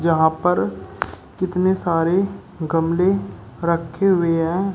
यहां पर कितने सारे गमले रखे हुए हैं।